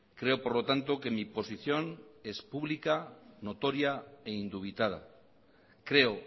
creo por lo tanto que mi posición es pública notoria e indubitada creo